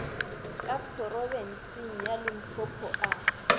ka phorobentsheng ya limpopo a